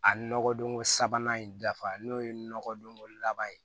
A nɔgɔdonko sabanan in dafa n'o ye nɔgɔdonko laban ye